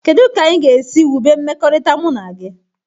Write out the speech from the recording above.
Kedụ ka anyị ga esi wube mmekọrịta mụ na gị?